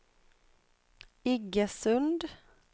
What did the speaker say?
Iggesund